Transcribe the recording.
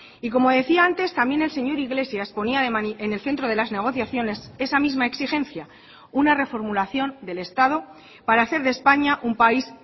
y como decía antes también el señor iglesias ponía en el centro de las negociaciones esa misma exigencia una reformulación del estado para hacer de españa un país